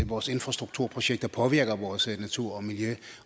vores infrastrukturprojekter påvirker vores natur og miljø